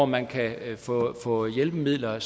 man kan få hjælpemidler